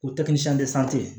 O